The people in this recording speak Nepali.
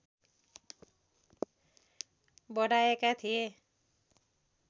बढाएका थिए